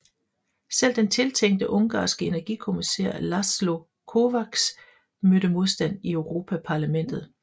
Selv den tiltænkte ungarske energikommissær László Kovács mødte modstand i Europaparlamentet